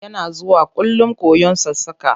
Yana zuwakullum koyon sassaƙa.